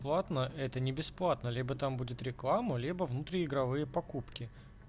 платно это не бесплатно либо там будет реклама либо внутриигровые покупки